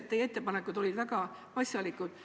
Teie ettepanekud olid väga asjalikud.